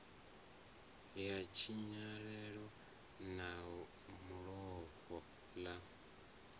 ya tshinyalelo na fulo ḽa